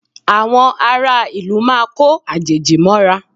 Àwọn ará ìlú máa ko àjèjì mọ́ra